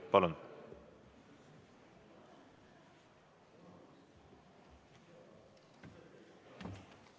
Palun!